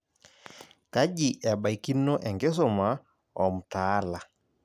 Kaji ebaikino enkisuma omtaala.